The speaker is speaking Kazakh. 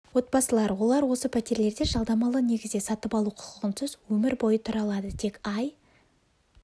отбасылар олар осы пәтерлерде жалдамалы негізде сатып алу құқығынсыз өмір бойы тұра алады тек ай